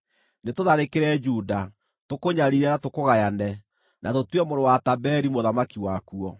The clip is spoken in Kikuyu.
“Nĩtũtharĩkĩre Juda, tũkũnyariire na tũkũgayane, na tũtue mũrũ wa Tabeeli mũthamaki wakuo.”